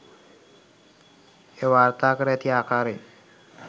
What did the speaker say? එය වාර්තාකර ඇති ආකාරයෙන්